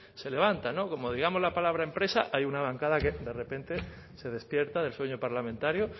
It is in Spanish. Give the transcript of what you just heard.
se levantan no como digamos la palabra empresa hay una bancada que de repente se despierta del sueño parlamentario